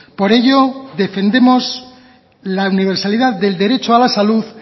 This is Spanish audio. por ello defendemos la universalidad del derecho a la salud